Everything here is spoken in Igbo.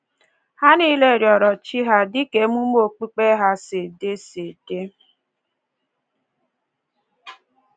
Ha nile rịọrọ chi ha dị ka ememe okpukpe ha si dị si dị